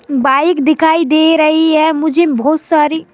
bike दिखाई दे रही है मुझे बहुत सारी--